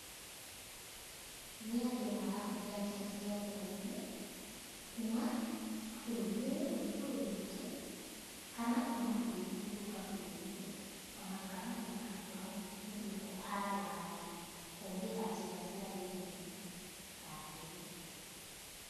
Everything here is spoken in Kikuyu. Nĩ andu marahũthĩra njĩra cia rĩerainĩ, kuma bũrũri ũyũ gũthiĩ bũrũri ũngĩ, kana kuma bũrũri ũngĩ gũka bũrũri ũyũ , ona kana kuma handũ hamwe gũthiĩ kũ handũ hangĩ, kũhũthĩra njĩra cia rĩerainĩ, ta ndege.